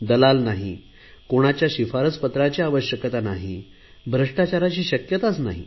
दलाल नाही कोणाच्या शिफारसपत्राची आवश्यकता नाही भ्रष्टाचाराची शक्यता नाही